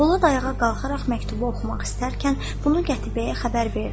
Polad ayağa qalxaraq məktubu oxumaq istərkən, bunu Qətibəyə xəbər verdilər.